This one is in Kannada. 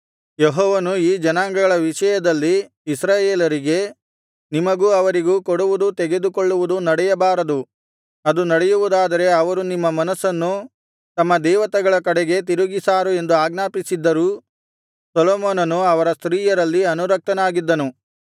ಯೆಹೋವನು ಈ ಜನಾಂಗಗಳ ವಿಷಯದಲ್ಲಿ ಇಸ್ರಾಯೇಲರಿಗೆ ನಿಮಗೂ ಅವರಿಗೂ ಕೊಡುವುದು ತೆಗೆದುಕೊಳ್ಳುವುದು ನಡೆಯಬಾರದು ಅದು ನಡೆಯುವುದಾದರೆ ಅವರು ನಿಮ್ಮ ಮನಸ್ಸನ್ನು ತಮ್ಮ ದೇವತೆಗಳ ಕಡೆಗೆ ತಿರುಗಿಸಾರು ಎಂದು ಆಜ್ಞಾಪಿಸಿದ್ದರೂ ಸೊಲೊಮೋನನು ಅವರ ಸ್ತ್ರೀಯರಲ್ಲಿ ಅನುರಕ್ತನಾಗಿದ್ದನು